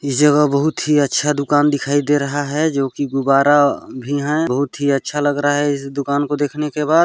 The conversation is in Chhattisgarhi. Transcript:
इस जगह बहुत ही अच्छा दुकान दिखाई दे रहा है जो कि गुब्बारा भी है बहुत ही अच्छा लग रहा है इस दुकान को देखने के बाद --